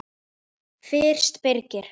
Fyrst Birgir